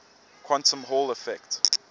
quantum hall effect